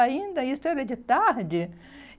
Ainda isso era de tarde.